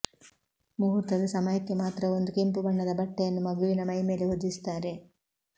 ಮುಹೂರ್ತದ ಸಮಯಕ್ಕೆ ಮಾತ್ರ ಒಂದು ಕೆಂಪು ಬಣ್ಣದ ಬಟ್ಟೆಯನ್ನು ಮಗುವಿನ ಮೈಮೇಲೆ ಹೊದಿಸುತ್ತಾರೆ